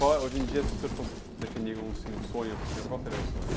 Hoje em dia, se o senhor fosse definir, assim, um sonho para o senhor, qual seria o sonho?